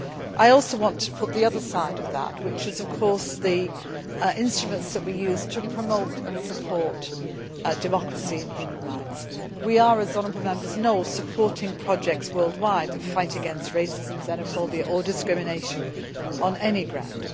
I also wanted to put the other side of that, which is, of course, the instruments that we use to promote and support democracy in human rights. We are, as honourable Members know, supporting projects worldwide in the fight against racism, xenophobia or discrimination on any ground.